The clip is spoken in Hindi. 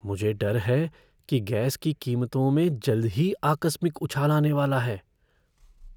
मुझे डर है कि गैस की कीमतों में जल्द ही आकस्मिक उछाल आने वाला है।